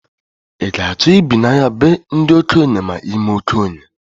I ga achọ i bi na be ndị okenye ma imee okenye?